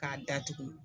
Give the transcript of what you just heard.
K'a datugu